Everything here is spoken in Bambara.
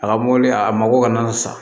A ka mɔbili a mago kana sa